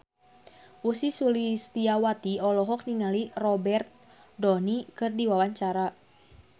Ussy Sulistyawati olohok ningali Robert Downey keur diwawancara